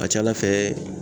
A ka ca ala fɛ